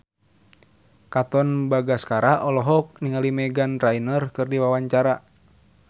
Katon Bagaskara olohok ningali Meghan Trainor keur diwawancara